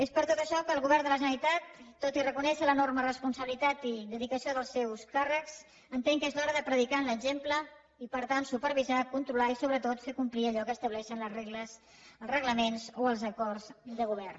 és per tot això que el govern de la generalitat tot i re conèixer l’enorme responsabilitat i dedicació dels seus càrrecs entén que és l’hora de predicar amb l’exemple i per tant supervisar controlar i sobretot fer complir allò que estableixen les regles els reglaments o els acords de govern